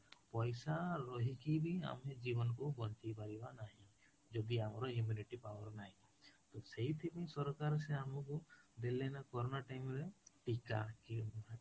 ପଇସା ରହିକି ବି ଆମେ ଜୀବନ କୁ ବଞ୍ଚେଇ ପାରିବ ନାହିଁ, ଯଦି ଆମର immunity power ନାହିଁ ତ ସେଇଠି ପାଇଁ ସରକାର ସେ ଆମକୁ ଦେଲେ ନା corona time ରେ ଟୀକା କି